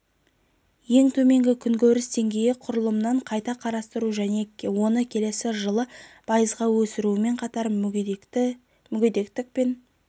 ең төменгі күнкөріс деңгейі құрылымын қайта қарастыру мен оны келесі жылы пайызға өсірумен қатар мүгедектік пен